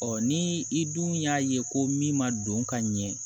ni i dun y'a ye ko min ma don ka ɲɛ